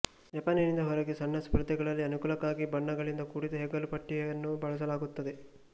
ಜಪಾನಿನಿಂದ ಹೊರಗೆ ಸಣ್ಣ ಸ್ಪರ್ಧೆಗಳಲ್ಲಿ ಅನುಕೂಲಕ್ಕಾಗಿ ಬಣ್ಣಗಳಿಂದ ಕೂಡಿದ ಹೆಗಲುಪಟ್ಟಿಯನ್ನೂ ಬಳಸಲಾಗುತ್ತದೆ